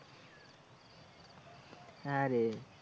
হ্যাঁ রে।